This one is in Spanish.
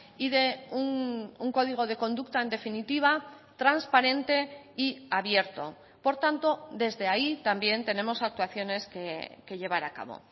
y de un código de conducta en definitiva transparente y abierto por tanto desde ahí también tenemos actuaciones que llevar a cabo